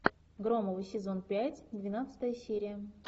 громовы сезон пять двенадцатая серия